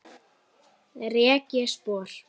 Rek ég spor.